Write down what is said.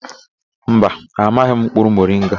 Mba, amaghị m mkpụrụ moringa.